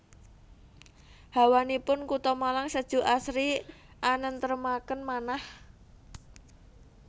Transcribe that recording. Hawanipun kuto Malang sejuk asri anentremaken manah